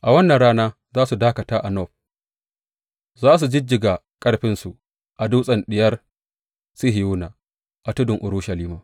A wannan rana za su dakata a Nob; za su jijjiga ƙarfinsu a dutsen Diyar Sihiyona, a tudun Urushalima.